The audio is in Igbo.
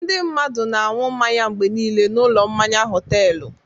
Ndị mmadụ na-aṅụ mmanya mgbe niile n'ụlọ mmanya họtelụ.